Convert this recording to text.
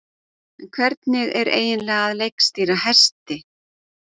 En hvernig er eiginlega að leikstýra hesti?